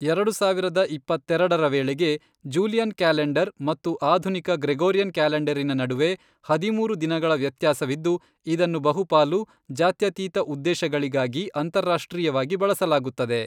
ಎರಡು ಸಾವಿರದ ಇಪ್ಪತ್ತೆರೆಡರ ವೇಳೆಗೆ, ಜೂಲಿಯನ್ ಕ್ಯಾಲೆಂಡರ್ ಮತ್ತು ಆಧುನಿಕ ಗ್ರೆಗೋರಿಯನ್ ಕ್ಯಾಲೆಂಡರಿನ ನಡುವೆ ಹದಿಮೂರು ದಿನಗಳ ವ್ಯತ್ಯಾಸವಿದ್ದು, ಇದನ್ನು ಬಹುಪಾಲು ಜಾತ್ಯತೀತ ಉದ್ದೇಶಗಳಿಗಾಗಿ ಅಂತಾರಾಷ್ಟ್ರೀಯವಾಗಿ ಬಳಸಲಾಗುತ್ತದೆ.